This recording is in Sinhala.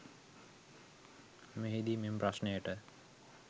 මෙහිදී මෙම ප්‍රශ්නයට